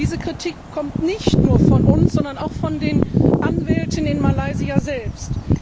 Diese Kritik kommt nicht nur von uns, sondern auch von den Anwälten in Malaysia selbst.